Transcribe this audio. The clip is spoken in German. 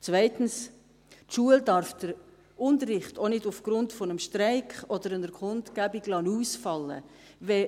Zweitens: Die Schule darf den Unterricht auch nicht aufgrund eines Streiks oder einer Kundgebung ausfallen lassen.